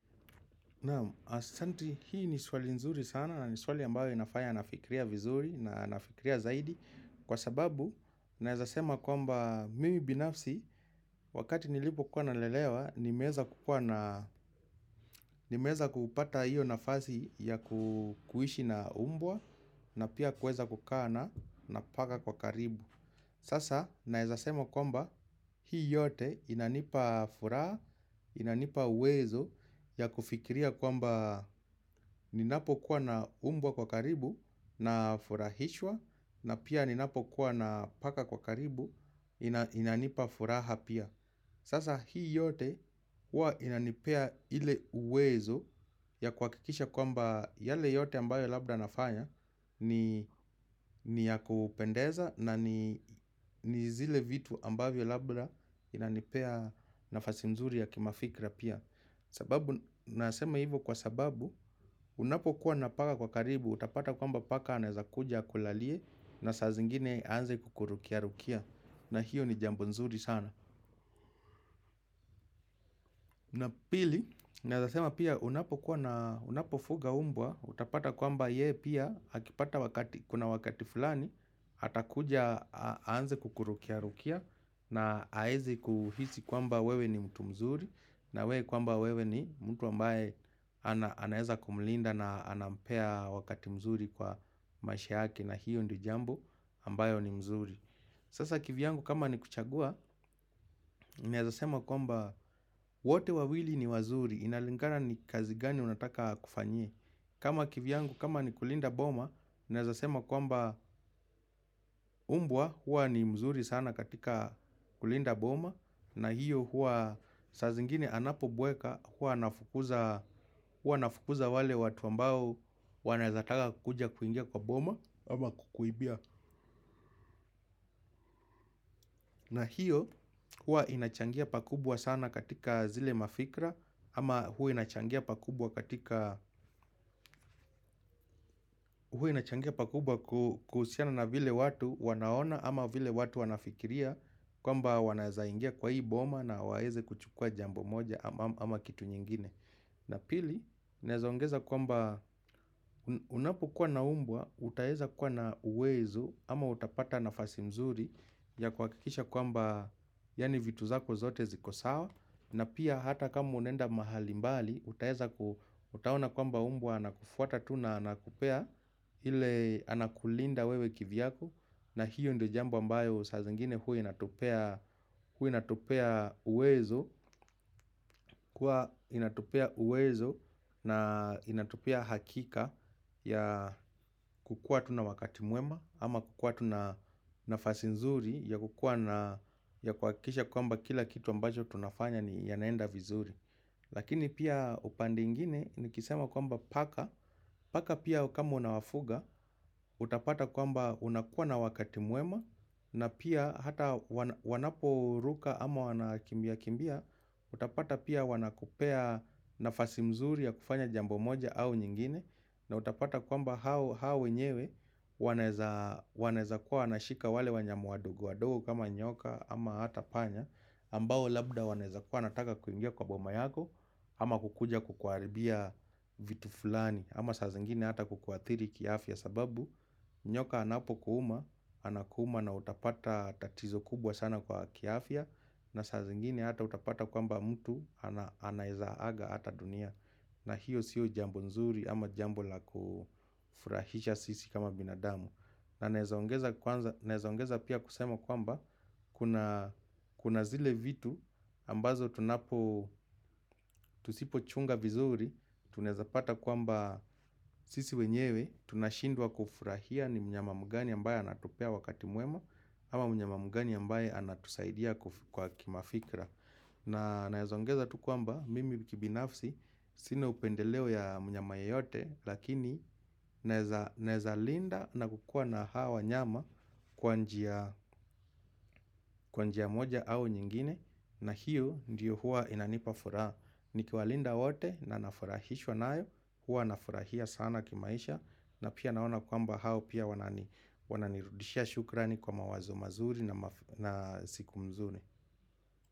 Naam, asanti hii ni swali nzuri sana na ni swali ambayo inafanya na fikiria vizuri na na fikiria zaidi Kwa sababu, naezasema kwamba mimi binafsi wakati nilipo kuwa na lelewa nimeeza kukua na Nimeeza kupata hiyo nafasi ya ku kuishi na umbwa na pia kuweza kukaana na na paka kwa karibu Sasa naezasema kwamba hii yote inanipa furaha, inanipa uwezo ya kufikiria kwamba ninapo kuwa na umbwa kwa karibu na furahishwa na pia ninapo kuwa na paka kwa karibu ina inanipa furaha pia. Sasa hii yote hua inanipea ile uwezo ya kuhakikisha kwamba yale yote ambayo labda nafanya ni ni ya kupendeza na ni ni zile vitu ambavyo labda inanipea nafasi nzuri ya kimafikra pia. Sababu, nasema hivo kwa sababu, unapo kuwa napaka kwa karibu, utapata kwamba paka anaeza kuja akulalie na saa zingine anze kukurukia rukia na hio ni jambo nzuri sana. Na pili, naezasema pia unapokuwa na unapofuga umbwa, utapata kwamba ye pia akipata wakati, kuna wakati fulani, atakuja aanze kukurukia rukia na aeze kuhisi kwamba wewe ni mtu mzuri na we kwamba wewe ni mtu ambae ana anaeza kumlinda na anampea wakati mzuri kwa maisha yake na hio ndio jambo ambayo ni mzuri. Sasa kivyangu kama ni kuchagua, naezasema kwamba wote wawili ni wazuri, inalingana ni kazi gani unataka akufanyie kama kivyangu kama ni kulinda boma, naezasema kwamba umbwa, huwa ni mzuri sana katika kulinda boma na hio huwa, sa zingine anapo bweka, huwa anafukuza wale watuambao wanaezataka kuja kuingia kwa boma ama kukuibia na hio huwa inachangia pakubwa sana katika zile mafikra ama hua inachangia pakubwa katika inachangia pakubwa ku kuhusiana na vile watu wanaona ama vile watu wanafikiria kwamba wanaezaingia kwa hii boma na waeze kuchukua jambo moja ama kitu nyingine. Na pili, naezaongeza kwamba unapokua naumbwa, utaeza kuwa na uwezo ama utapata nafasi mzuri ya kuhakikisha kwamba yani vitu zako zote zikosawa na pia hata kama unaenda mahali mbali, utaeza ku utaona kwamba umbwa ana kufuata tuna anakupea ile anakulinda wewe kivyako. Na hio ndio jambo ambayo saazingine hua inatupea hua inatupea uwezo, kuwa inatupea uwezo na inatupea hakika ya kukua tuna wakati mwema, ama kukua tuna nafasinzuri ya kukua na kuakisha kwa mba kila kitu ambacho tunafanya ni ya naenda vizuri. Lakini pia upande ingine ni kisema kwamba paka Paka pia kama unawafuga utapata kwamba unakuwa na wakati mwema na pia hata wana wanapo ruka ama wana kimbia kimbia Utapata pia wanakupea nafasi mzuri ya kufanya jambo moja au nyingine na utapata kwamba hao hao wenyewe wanaeza wanaeza kuwa wanashika wale wanyama wadogo wadogo kama nyoka ama hata panya ambao labda wanaeza kuwa nataka kuingia kwa boma yako ama kukuja kukuaribia vitu fulani ama saa zingine hata kukuathiri kiafya sababu nyoka anapo kuuma Anakuuma na utapata tatizo kubwa sana kwa kiafya na saa zingine hata utapata kwamba mtu ana anaeza aga hata dunia na hio sio jambo nzuri ama jambo la ku furahisha sisi kama binadamu na naezaongeza kwanza naeza ongeza pia kusema kwamba kuna Kuna zile vitu ambazo tunapo tusipo chunga vizuri Tunaeza pata kwamba sisi wenyewe Tunashindwa kufurahia ni mnyama mgani ambaye anatupea wakati mwema ama mnyama mgani ambaye anatusaidia kuf kwa kimafikra na naezongeza tukwamba mimi kibinafsi Sina upendeleo ya mnyama ye yote Lakini naeza naezalinda na kukua na hawa wanyama kwa njia kwanjia moja au nyingine na hio ndio huwa inanipa furaa ni kiwalinda wote na nafurahishwa nayo Huwa nafurahia sana kimaisha na pia naona kwamba hao pia wanani wananirudisha shukrani kwa mawazo mazuri na siku mzuri.